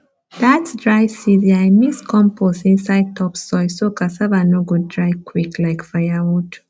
that dry season i mix compost inside top soil so cassava no go dry quick like firewood